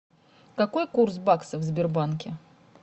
какой курс бакса в сбербанке